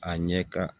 A ɲɛ ka